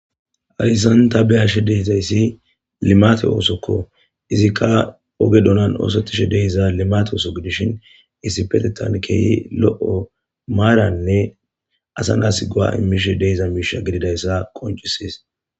aryssan ta beyashe deyzayssi limate oosokko izikka oge donan oosottishe deiza limate ooso gidishin issipetetan keehi lo7o maaranne asa naas goa immishe deiza miisha gididayssa qoncisis